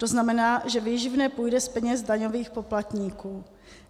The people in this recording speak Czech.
To znamená, že výživné půjde z peněz daňových poplatníků.